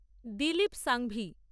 Dilip Sanghvi